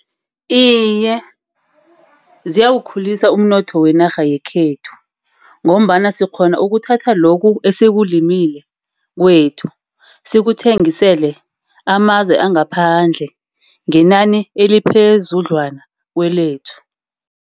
Iye, ziyawukhulisa umnotho wenarha yekhethu, ngombana sikghona ukuthatha lokhu esikumile kwethu, sikuthengisele amazwe angaphandle. Ngenani eliphezudlwana kwelethu.